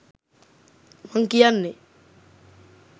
මං කියන්නේ